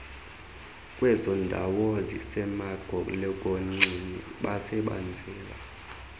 kwezondawo zisemagolokonxeni basebenzela